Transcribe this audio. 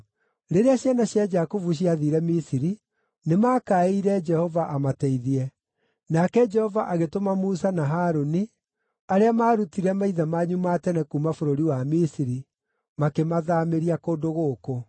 “Rĩrĩa ciana cia Jakubu ciathiire Misiri, nĩmakaĩire Jehova amateithie, nake Jehova agĩtũma Musa na Harũni arĩa maarutire maithe manyu ma tene kuuma bũrũri wa Misiri, makĩmathaamĩria kũndũ gũkũ.